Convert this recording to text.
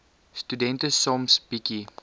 studente soms bietjie